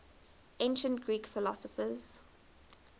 ancient greek philosophers